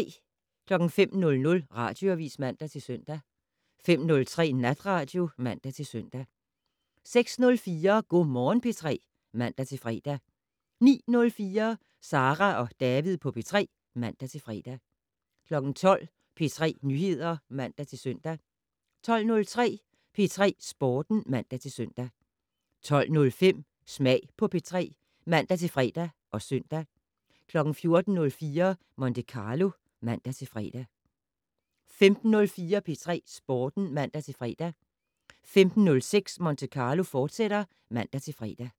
05:00: Radioavis (man-søn) 05:03: Natradio (man-søn) 06:04: Go' Morgen P3 (man-fre) 09:04: Sara og David på P3 (man-fre) 12:00: P3 Nyheder (man-søn) 12:03: P3 Sporten (man-søn) 12:05: Smag på P3 (man-fre og søn) 14:04: Monte Carlo (man-fre) 15:04: P3 Sporten (man-fre) 15:06: Monte Carlo, fortsat (man-fre)